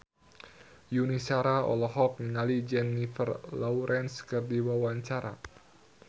Yuni Shara olohok ningali Jennifer Lawrence keur diwawancara